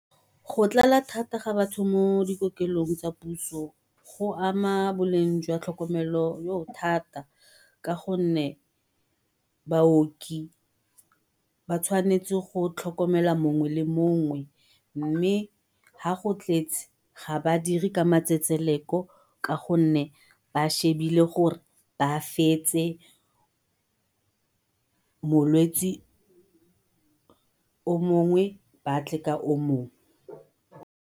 Go tlala thata ga batho mo dikokelong tsa puso go ama boleng jwa tlhokomelo thata ka gonne baoki ba tshwanetse go tlhokomela mongwe le mongwe. Mme ha go tletse ga ba dire ka matsetseleko ka gonne ba shebile gore ba fetse molwetsi o mongwe batle ka o mongwe.